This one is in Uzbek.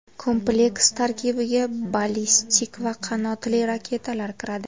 Kompleks tarkibiga ballistik va qanotli raketalar kiradi.